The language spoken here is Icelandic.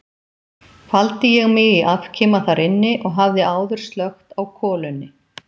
Faldi ég mig í afkima þar inni og hafði áður slökkt á kolunni.